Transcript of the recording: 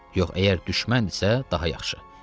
Yox, əgər düşməndirsə, daha yaxşı.